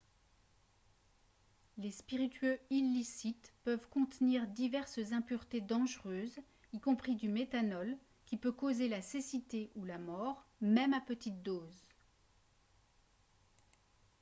les spiritueux illicites peuvent contenir diverses impuretés dangereuses y compris du méthanol qui peut causer la cécité ou la mort même à petites doses